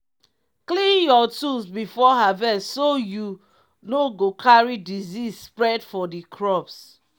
clean your tools before harvest so you no go carry disease spread for the crops.